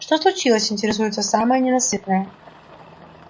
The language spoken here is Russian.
что случилось интересуется самая ненасытная